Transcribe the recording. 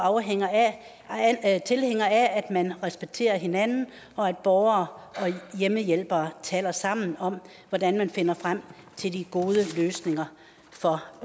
tilhænger af at man respekterer hinanden og at borgere og hjemmehjælpere taler sammen om hvordan man finder frem til de gode løsninger for